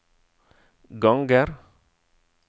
ganger